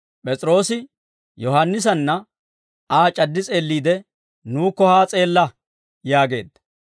P'es'iroosi Yohaannisanna Aa c'addi s'eelliide, «Nuukko haa s'eella» yaageedda.